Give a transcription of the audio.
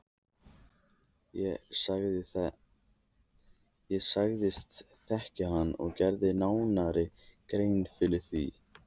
Ég sagðist þekkja hann og gerði nánari grein fyrir því.